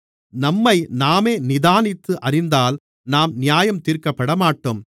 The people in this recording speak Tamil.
நம்மைநாமே நிதானித்து அறிந்தால் நாம் நியாயந்தீர்க்கப்படமாட்டோம்